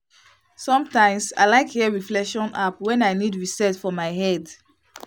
sometimes i like hear reflection app when i need reset for my head.